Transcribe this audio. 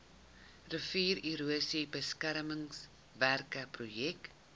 riviererosie beskermingswerke projek